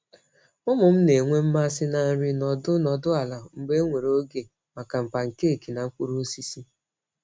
Ụmụ m na-enwe mmasị na nri nọdụ nọdụ ala mgbe enwere oge maka pancake na mkpụrụ osisi.